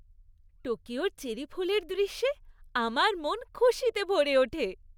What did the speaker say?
টোকিওর cherry ফুলের দৃশ্যে আমার মন খুশিতে ভরে ওঠে।